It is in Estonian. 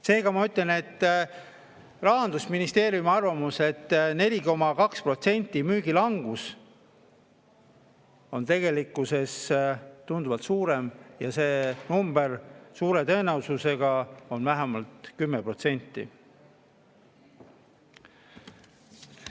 Seega, kuigi Rahandusministeeriumil oli arvamus, et 4,2% on müügi langus, on see langus tegelikkuses tunduvalt suurem ja see number suure tõenäosusega on vähemalt 10%.